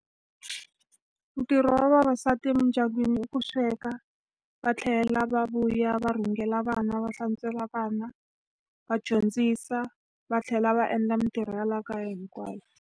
Ntirho wa vavasati emidyangwini i ku sweka, va tlhela va vuya va rhungela vana, va hlantswela vana, va dyondzisa va tlhela va endla mitirho ya laha kaya hinkwayo.